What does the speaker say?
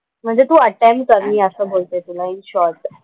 म्हणजे तू अटेम्प्ट कर मी असं बोलते तुला इन शॉर्ट.